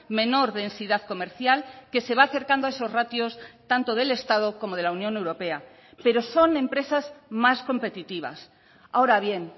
menor densidad comercial que se va acercando a esos ratios tanto del estado como de la unión europea pero son empresas más competitivas ahora bien